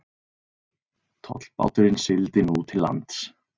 Tollbáturinn sigldi nú til lands.